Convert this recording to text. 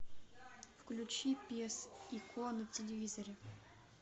включи пес и ко на телевизоре